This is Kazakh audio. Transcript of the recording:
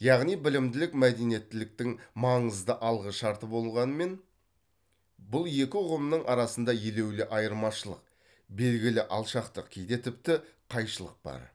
яғни білімділік мәдениеттіліктің маңызды алғы шарты болғанымен бұл екі ұғымның арасында елеулі айырмашылық белгілі алшақтық кейде тіпті қайшылық бар